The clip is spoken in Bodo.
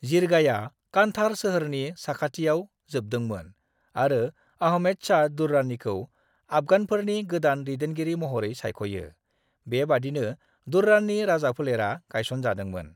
जिरगाया कान्धार सोहोरनि साखाथियाव जोबदोंमोन आरो आहमेद शाह दुर्रानीखौ आफगानफोरनि गोदान दैदेनगिरि महरै सायख'यो, बेबादिनो दुर्रानि राजाफोलेरा गायसनजादोंमोन।